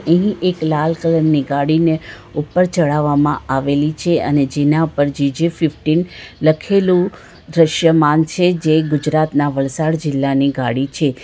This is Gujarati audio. અહીં એક લાલ કલર ની ગાડીને ઉપર ચડાવવામાં આવેલી છે અને જેના પર જી જે ફિફ્ટીન લખેલું દ્રશ્યમાન છે જે ગુજરાતના વલસાડ જિલ્લાની ગાડી છે.